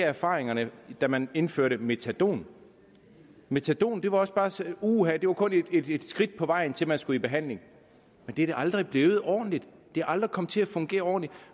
erfaringerne da man indførte metadon metadon var også bare sådan uha det var kun et skridt på vejen til at de skulle i behandling men det er det aldrig blevet ordentligt det er aldrig kommet til at fungere ordentligt